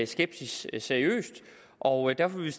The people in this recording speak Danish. skepsis seriøst og derfor vil